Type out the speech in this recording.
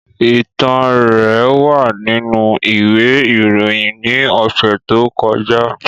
Itan rẹ wa ninu iwe iroyin ni ọsẹ to kọja.